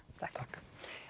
takk